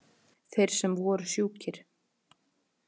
Þeir sem voru sjúkir.